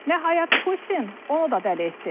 Nəhayət Putin onu da dəli etdi.